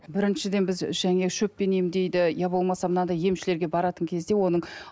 біріншіден біз және шөппен емдейді иә болмаса мынадай емшілерге баратын кезде оның